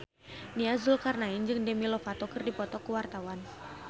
Nia Zulkarnaen jeung Demi Lovato keur dipoto ku wartawan